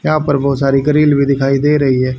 यहां पर बहुत सारी ग्रिल भी दिखाई दे रही है।